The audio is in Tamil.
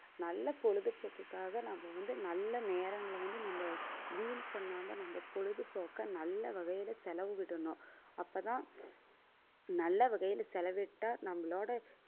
நல்ல பொழுதுபோக்குக்காக நாம வந்து நல்ல நேரங்களை வந்து நம்ம வீண் பண்ணாம நம்ம பொழுதுபோக்கை, நல்ல வகையில செலவிடணும் அப்பதான் நல்ல வகையில செலவிட்டா, நம்மளோட